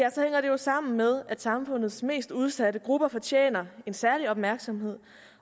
jo sammen med at samfundets mest udsatte grupper fortjener en særlig opmærksomhed